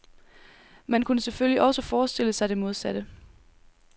Man kunne selvfølgelig også forestille sig det modsatte.